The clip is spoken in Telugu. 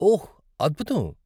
ఓహ్, అద్భుతం.